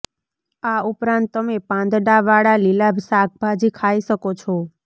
આ ઉપરાંત તમે પાંદડા વાળા ભીલા શાકભાજી ખાઈ શકો છે